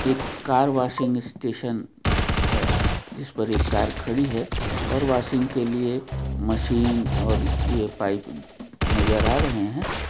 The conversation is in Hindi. एक कार वॉशिंग स्टेशन है जिस पर एक कार खड़ी है और वॉशिंग के लिए मशीन और ये पाइप नज़र आ रहे है।